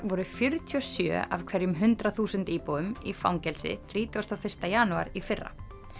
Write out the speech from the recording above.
voru fjörutíu og sjö af hverjum hundrað þúsund íbúum í fangelsi þrítugasta og fyrsta janúar í fyrra